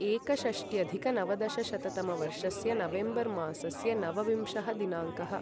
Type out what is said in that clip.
एकषष्ट्यधिक नवदशशततमवर्षस्य नवेम्बर् मासस्य नवविंशः दिनाङ्कः